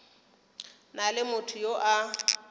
na le motho yo a